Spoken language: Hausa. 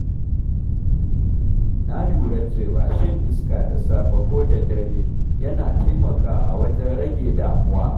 Na lura cewa shan iska da safe ko da dare yana taimakawa wajen rage damuwa.